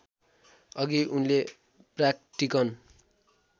अघि उनले प्राक्टिकन